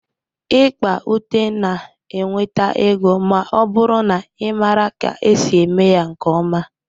Ikpa ute na-enweta ego ma ọ bụrụ na ị maara ka esi eme ya nke ọma